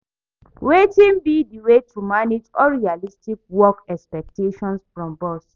Wetin be di way to manage unrealistic work expectations from boss?